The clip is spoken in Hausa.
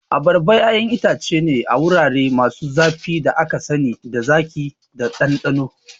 Abarba ƴaƴan itace ne na wurare masu zafi da aka sani da zaƙi da ɗanɗano.